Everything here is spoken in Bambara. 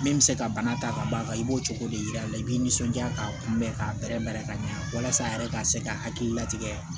Min bɛ se ka bana ta ka b'a kan i b'o cogo de yira a la i b'i nisɔndiya k'a kunbɛ k'a bɛrɛbɛrɛ ka ɲɛ walasa a yɛrɛ ka se ka hakililatigɛ